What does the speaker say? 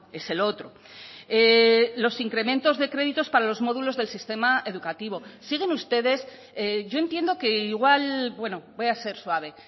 es el otro los incrementos de créditos para los módulos del sistema educativo siguen ustedes yo entiendo que igual bueno voy a ser suave